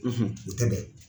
u tɛ bɛn.